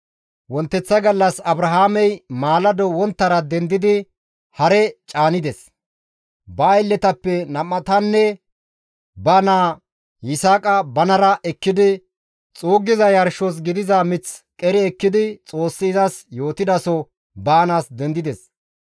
Wonteththa gallas Abrahaamey maalado wonttara dendidi hare caanides; ba aylletappe nam7atanne ba naa Yisaaqa banara ekkidi xuuggiza yarshos gidiza mith qeri ekkidi Xoossi izas yootidaso baanaas dendides.